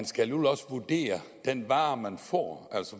skal vurdere den vare man får